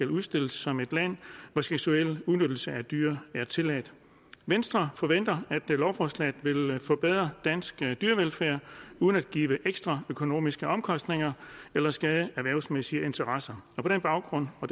udstillet som et land hvor seksuel udnyttelse af dyr er tilladt venstre forventer at lovforslaget vil forbedre dansk dyrevelfærd uden at give ekstra økonomiske omkostninger eller skade erhvervsmæssige interesser og på den baggrund og